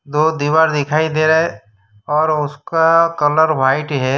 दो दीवार दिखाई दे रहे है और उसका कलर वाइट है।